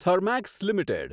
Thermax limited